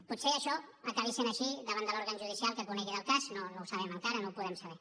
potser això acabi sent així davant de l’òrgan judicial que conegui el cas no ho sabem encara no ho podem saber